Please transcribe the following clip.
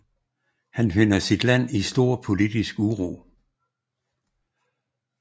Han finder sit land i stor politisk uro